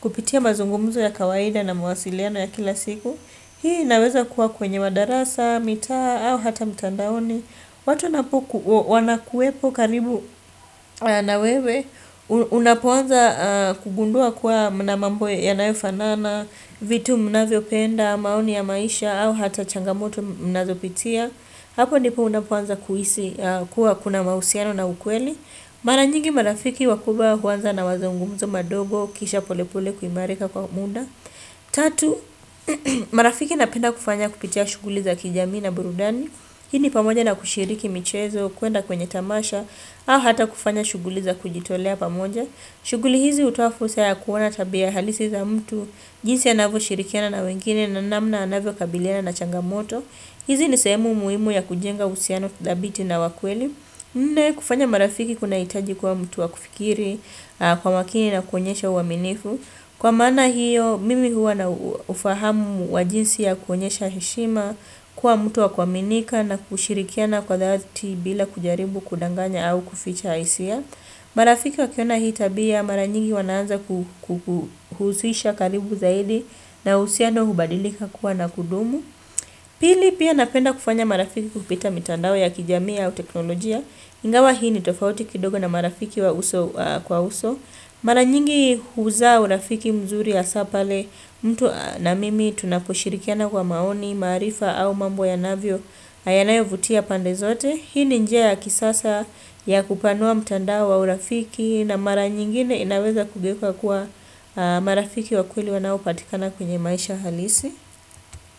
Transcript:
kupitia mazungumzu ya kawaida na mawasiliano ya kila siku. Hii inaweza kuwa kwenye madarasa, mitaa, au hata mitandaoni. Watu wanakuwepo karibu na wewe, unapoanza kugundua kuwa mnamambo ya nayofanana, vitu mnavyo penda, maoni ya maisha, au hata changamoto mnazo pitia. Hapo ndipo unapoanza kuhisi kuwa kuna mahusiano na ukweli. Mara nyingi marafiki wakubwa huanza na mazungumzo madogo kisha pole pole kuimarika kwa mda Tatu, marafiki napenda kufanya kupitia shughuli za kijamii na burudani Hii ni pamoja na kushiriki michezo, kuenda kwenye tamasha au hata kufanya shughuli za kujitolea pamoja shughuli hizi hutoa fursa ya kuona tabia halisi za mtu jinsi anavo shirikiana na wengine na namna anavyo kabiliana na changamoto hizi nisehemu muhimu ya kujenga uhusiano thabiti na wakweli Nne kufanya marafiki kuna hitaji kuwa mtu wa kufikiri kwa makini na kuonyesha uaminifu. Kwa maana hiyo, mimi huwa na ufahamu wajinsi ya kuonyesha heshima, kuwa mtu wa kuaminika na kushirikiana kwa dhati bila kujaribu kudanganya au kuficha hisia. Marafiki wa kiona hii tabia, maranyingi wanaanza kukuhusisha karibu zaidi na uhusiano hubadilika kuwa na kudumu. Pili pia napenda kufanya marafiki kupita mitandao ya kijamii au teknolojia. Ingawa hii ni tofauti kidogo na marafiki wa uso kwa uso. Mara nyingi huzaa urafiki mzuri hasa pale mtu na mimi tunaposhirikiana kwa maoni, maarifa au mambo ya navyo yanayovutia pandezote. Hii ni njia ya kisasa ya kupanua mtandao wa urafiki na mara nyingine inaweza kugeuka kuwa marafiki wa kweli wanao patikana kwenye maisha halisi.